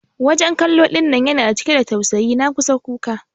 wajen kallo dinnan yana cike da tausayi na kusan kuka.